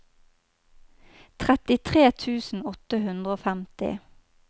trettitre tusen åtte hundre og femti